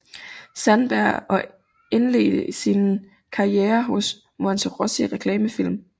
Sandberg og indledte sin karriere hos Monterossi Reklamefilm